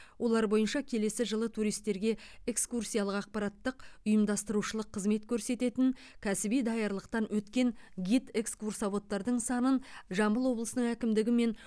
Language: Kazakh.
олар бойынша келесі жылы туристерге экскурсиялық ақпараттық ұйымдастырушылық қызмет көрсететін кәсіби даярлықтан өткен гид экскурсоводтардың санын жамбыл облысының әкімдігі мен